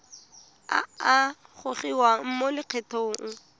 a a gogiwang mo lokgethong